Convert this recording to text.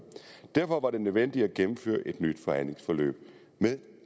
derfor var det nødvendigt at gennemføre et nyt forhandlingsforløb med